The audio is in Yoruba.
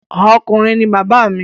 Ọkùnrin ní bàbá mi.